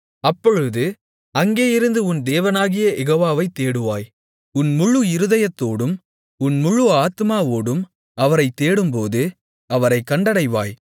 அப்பொழுது அங்கேயிருந்து உன் தேவனாகிய யெகோவாவை தேடுவாய் உன் முழு இருதயத்தோடும் உன் முழு ஆத்துமாவோடும் அவரைத் தேடும்போது அவரைக் கண்டடைவாய்